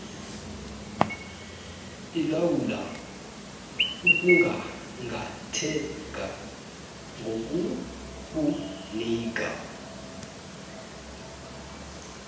ilawula ukunqanqatheka ngokukunika